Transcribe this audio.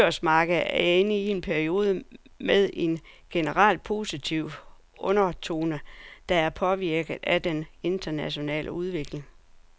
Det danske børsmarked er inde i en periode med en generelt positiv undertone, der er påvirket af den internationale udvikling.